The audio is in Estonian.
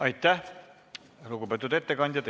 Aitäh, lugupeetud ettekandja!